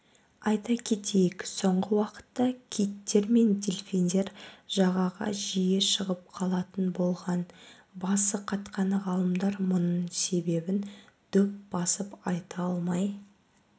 айта кетейік соңғы уақытта киттер мен дельфиндер жағаға жиі шығып қалатын болған басы қатқан ғалымдар мұның себебін дөп басып айта алмай